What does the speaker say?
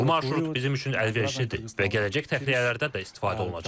Bu marşrut bizim üçün əlverişlidir və gələcək təxliyələrdə də istifadə olunacaq.